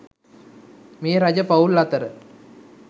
මේ රජ පවුල් අතර